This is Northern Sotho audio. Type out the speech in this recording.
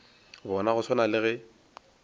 bona go swana le ge